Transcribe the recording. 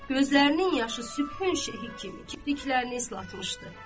Gözlərinin yaşı sübh önü şeh kimi kipriklərini islatmışdı.